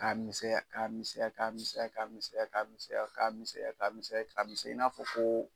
Ka misɛnya ka misɛnya ka misɛnya ka misɛnya ka misɛnya ka misɛnya ka misɛnya ka misɛnya i n'a fɔ ko